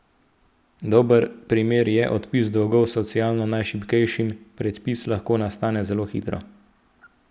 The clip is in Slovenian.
Dober primer je odpis dolgov socialno najšibkejšim, predpis lahko nastane zelo hitro.